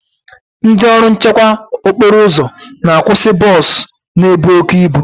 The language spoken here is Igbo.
Ndị ọrụ nchekwa okporo ụzọ na akwụsị bọs na-ebu oke ibu.